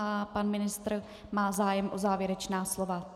A pan ministr má zájem o závěrečné slovo.